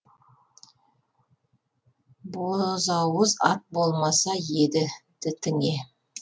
бозауыз ат болмаса еді дітіңе